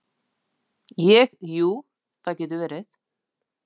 Ég, jú, það getur verið.